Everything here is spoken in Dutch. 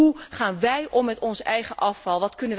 Hoe gaan wij om met ons eigen afval?